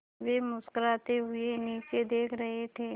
वे मुस्कराते हुए नीचे देख रहे थे